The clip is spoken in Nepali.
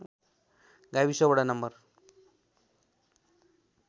गाविस वडा नम्बर